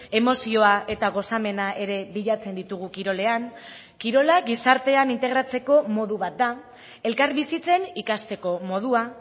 emozioa eta gozamena ere bilatzen ditugu kirolean kirola gizartean integratzeko modu bat da elkarbizitzen ikasteko modua